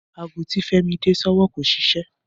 Aago tí Fẹ́mi dè sọ́wọ́ kò ṣiṣẹ́